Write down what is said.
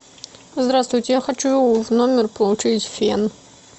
здравствуйте я хочу в номер получить фен